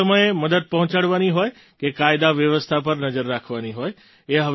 સંકટના સમયે મદદ પહોંચાડવાની હોય કે કાયદા વ્યવસ્થા પર નજર રાખવાની હોય